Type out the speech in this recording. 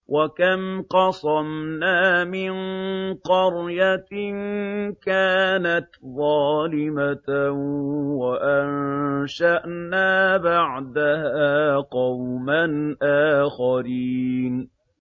وَكَمْ قَصَمْنَا مِن قَرْيَةٍ كَانَتْ ظَالِمَةً وَأَنشَأْنَا بَعْدَهَا قَوْمًا آخَرِينَ